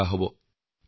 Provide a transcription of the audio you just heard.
এয়া যথেষ্ট কঠিন কাম